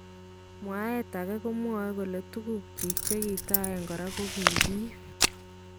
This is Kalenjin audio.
Mwaeet akee komwae kole tukuk chik chekitaen koraa kokikiib .